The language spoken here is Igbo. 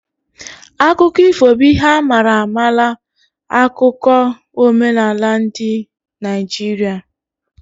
Akụkọ ifo bụ ihe a mara amala 'akụkụ omenaala dị n' Naijiria